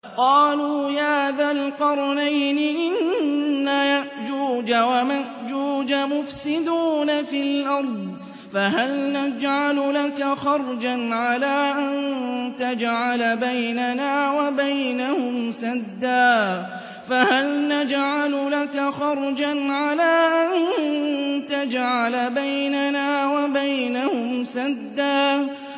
قَالُوا يَا ذَا الْقَرْنَيْنِ إِنَّ يَأْجُوجَ وَمَأْجُوجَ مُفْسِدُونَ فِي الْأَرْضِ فَهَلْ نَجْعَلُ لَكَ خَرْجًا عَلَىٰ أَن تَجْعَلَ بَيْنَنَا وَبَيْنَهُمْ سَدًّا